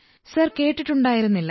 sir കേട്ടിട്ടുണ്ടായിരുന്നില്ല